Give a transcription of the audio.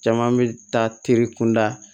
Caman bɛ taa teri kunda